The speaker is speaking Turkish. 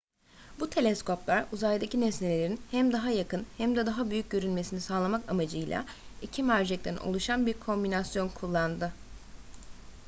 bu teleskoplar uzaktaki nesnelerin hem daha yakın hem de daha büyük görünmesini sağlamak amacıyla iki mercekten oluşan bir kombinasyon kullandı